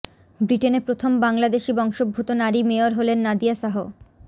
ব্রিটেনে প্রথম বাংলাদেশি বংশোদ্ভূত নারী মেয়র হলেন নাদিয়া শাহ